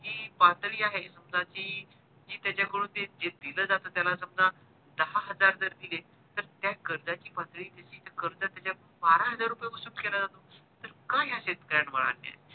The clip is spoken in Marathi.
जी पातळी आहे समजा कि त्याचा कडून जे, जे दिलं जात त्याला समजा दहा हजार जर दिले तर त्या कर्जाची पातळी अशी कर्जा त्याचा बारा हजार रुपया वसूल केला जातो तर का ह्या शेतकऱ्यांवर